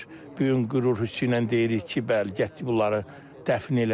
Bu gün qürur hissi ilə deyirik ki, bəli, gətirib bunları dəfn elədik.